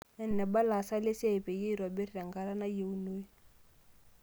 Eneba ilasak lesiai peyiey eitobiri tenkata nayieunoi.